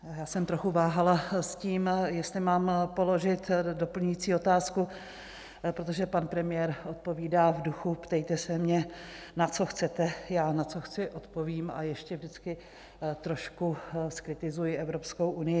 Já jsem trochu váhala s tím, jestli mám položit doplňující otázku, protože pan premiér odpovídá v duchu: Ptejte se mě, na co chcete, já na co chci, odpovím a ještě vždycky trošku zkritizuji Evropskou unii.